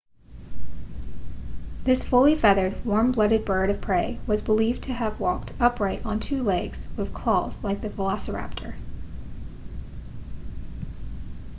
this fully feathered warm blooded bird of prey was believed to have walked upright on two legs with claws like the velociraptor